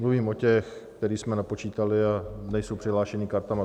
Mluvím o těch, které jsme napočítali a nejsou přihlášeni kartami.